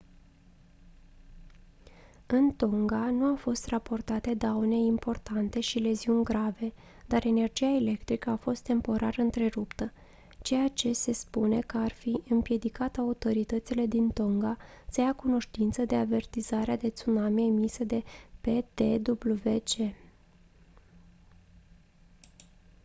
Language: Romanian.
în tonga nu au fost raportate daune importante și leziuni grave dar energia electrică a fost temporar întreruptă ceea ce se spune că ar fi împiedicat autoritățile din tonga să ia cunoștință de avertizarea de tsunami emisă de ptwc